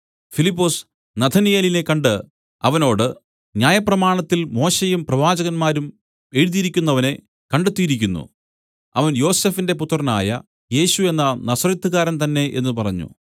ഫിലിപ്പൊസ് നഥനയേലിനെ കണ്ട് അവനോട് ന്യായപ്രമാണത്തിൽ മോശെയും പ്രവാചകന്മാരും എഴുതിയിരിക്കുന്നവനെ കണ്ടെത്തിയിരിക്കുന്നു അവൻ യോസഫിന്റെ പുത്രനായ യേശു എന്ന നസറെത്ത്കാരൻ തന്നേ എന്നു പറഞ്ഞു